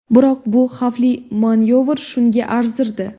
Biroq bu xavfli manyovr shunga arzirdi.